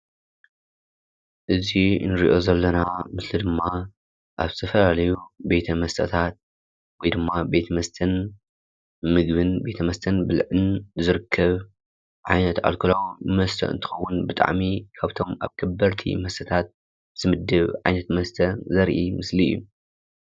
እዚ ንሪኦ ዘለና ምስሊ ድማ ኣብ ዝተፈላለዩ ቤተ መስተታት ወይ ድማ ቤት መስተን ምግብን ቤት መስተን ብልዕን ዝርከብ ዓይነት ኣልኮላዊ መስተ እንትኾን ብጣዕሚ ካብቶም ኣብ ከበድቲ መስተታት ዝምደብ ዓይነት መስተ ዘርኢ ምስሊ እዩ።